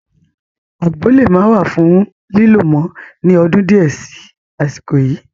Àgbo le maa wà fún lílo mọ ni ọdún di ẹ sì àsìkò yìí